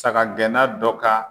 Saga gɛnna dɔ ka